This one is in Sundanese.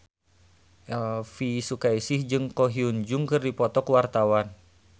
Elvy Sukaesih jeung Ko Hyun Jung keur dipoto ku wartawan